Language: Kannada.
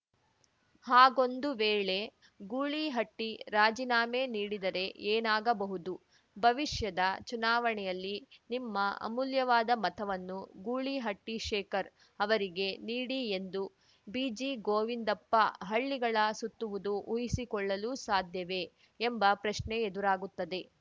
ಹಾಗೊಂದು ವೇಳೆ ಗೂಳಿಹಟ್ಟಿರಾಜಿನಾಮೆ ನೀಡಿದರೆ ಏನಾಗಬಹುದು ಭವಿಷ್ಯದ ಚುನಾವಣೆಯಲ್ಲಿ ನಿಮ್ಮ ಅಮೂಲ್ಯವಾದ ಮತವನ್ನು ಗೂಳಿಹಟ್ಟಿಶೇಖರ್‌ ಅವರಿಗೆ ನೀಡಿ ಎಂದು ಬಿಜಿಗೋವಿಂದಪ್ಪ ಹಳ್ಳಿಗಳ ಸುತ್ತುವುದು ಊಹಿಸಿಕೊಳ್ಳಲು ಸಾಧ್ಯವೇ ಎಂಬ ಪ್ರಶ್ನೆ ಎದುರಾಗುತ್ತದೆ